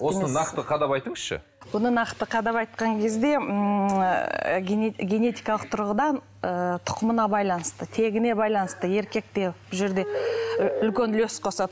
осыны нақты қадап айтыңызшы бұны нақты қадап айтқан кезде ммм ы генетикалық тұрғыдан тұқымына байланысты тегіне байланысты еркек те бұл жерде үлкен үлес қосады